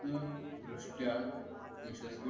न संपूर्ण दृष्ट्या यशस्वी